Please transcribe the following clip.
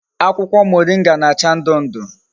Akwukwo moringa na-acha ndu ndu